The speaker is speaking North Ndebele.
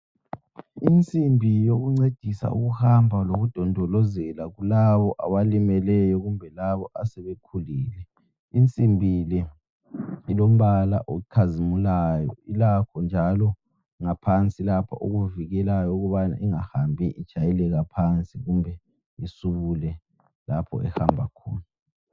Insimbi yokuncedisa ukuhamba lokudondolozela kulabo abalimeleyo kumbe labo asebekhulile. Insimbi le ilombala okhazimulayo. Ilakho njalo ngaphansi lapha okuvikelayo ukubana ingahambi itshayeleka phansi kumbe isubule lapho ehamba khona.